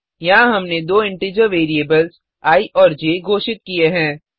यहाँ हमने दो इंटीजर वेरिएबल्स आई और ज घोषित की हैं